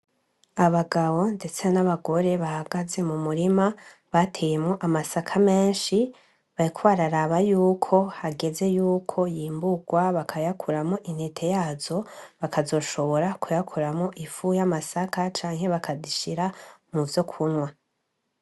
Abagabo ndetse n'abagore bagaze mu murima bateyemwo amasaka menshi, bariko bararaba yuko hageze yuko y'imburwa bakayakuramo intete yazo bakazoshobora kuyakuramo ifu y'amasaka canke bakazishira mu vyo kunywa.